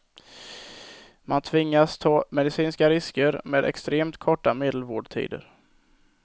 Man tvingas ta medicinska risker med extremt korta medelvårdtider.